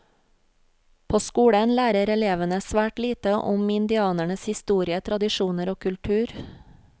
På skolen lærer elevene svært lite om indianernes historie, tradisjoner og kultur.